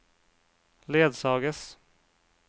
ledsages